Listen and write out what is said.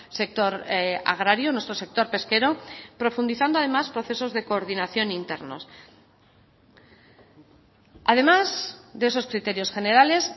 sector agrario nuestro sector pesquero profundizando además procesos de coordinación internos además de esos criterios generales